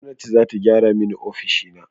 Gwamnati za ta gyara mani ofishina.